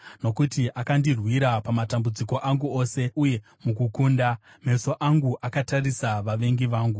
Nokuti akandirwira pamatambudziko angu ose, uye mukukunda, meso angu akatarisa vavengi vangu.